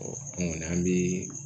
an ŋɔni an bɛ